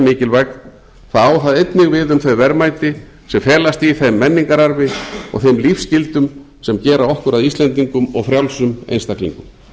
mikilvæg þá á það einnig við um þau verðmæti sem felast í þeim menningararfi og þeim lífsgildum sem gera okkur að íslendingum og frjálsum einstaklingum